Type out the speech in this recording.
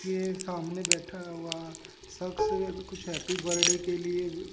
के सामने बैठा हुआ सक्स कुछ हैप्पी बर्थडे के लिए--